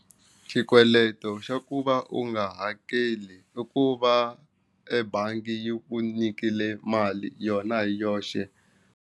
Xikweleto xa ku va u nga hakeli i ku va ebangi yi ku nyikile mali yona hi yoxe.